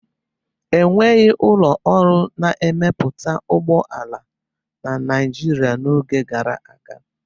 Enweghị ụlọ ọrụ na-emepụta ụgbọ ala na Nigeria n'oge gara aga